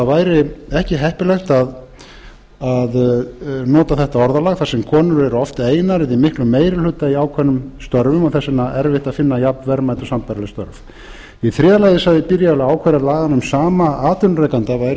væri ekki heppilegt að nota þetta orðalag þar sem konur eru oft einar eða í miklum meiri hluta í ákveðnum störfum og þess vegna erfitt að finna jafnverðmæt og sambærileg störf í þriðja lagi sagði byrial að ákvæði laganna um sama atvinnurekanda væru sennilega